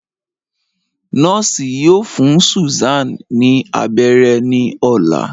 Nọọsi yoo fun Susan ni abẹrẹ ni ọla